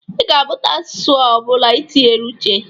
Ị ga-amụta asụsụ ọ bụla i tinyere uche.